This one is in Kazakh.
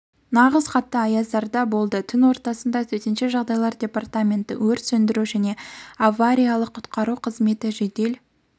нағыз қатты аяздарда болды түн ортасында төтенше жағдайлар департаменті өрт сөндіру және авариялық-құтқару қызметі жедел